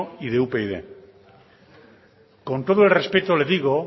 y de upyd con todo el respeto le digo